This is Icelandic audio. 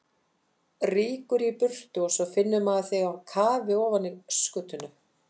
Rýkur í burtu og svo finnur maður þig á kafi ofan í öskutunnu!